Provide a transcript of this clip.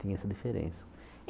Tem essa diferença.